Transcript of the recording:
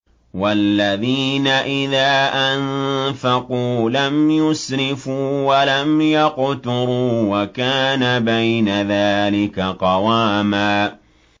وَالَّذِينَ إِذَا أَنفَقُوا لَمْ يُسْرِفُوا وَلَمْ يَقْتُرُوا وَكَانَ بَيْنَ ذَٰلِكَ قَوَامًا